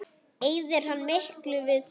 Eyðir hann miklu við það?